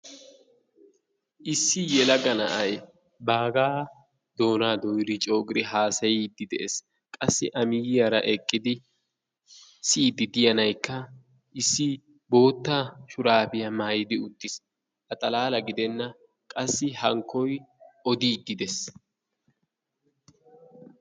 Issi yelaga na"ay baagaa doonaa dooyiri coogiri haasayiiddi de"es. Qassi a miyiyaara eqqidi siyiiddi diya nayikka issi bootta shuraabiya maayidi uttis. A xalaala gidenna. Qassi hankkoy odiiddi des.